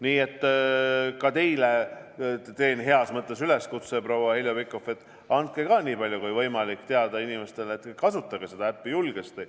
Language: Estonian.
Nii et teen ka teile, proua Heljo Pikhof, heas mõttes üleskutse: andke ise samuti nii palju kui võimalik inimestele teada, et nad kasutaksid seda äppi julgesti.